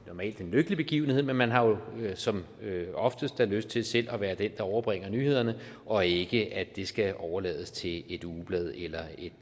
normalt en lykkelig begivenhed men man har jo som oftest lyst til selv at være den der overbringer nyhederne og ikke at det skal overlades til et ugeblad eller